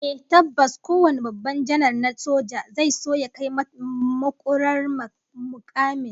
Ehh tabbas kowane babban janar na soja zai so ya kai makurar mukamin soja, wato fil mashal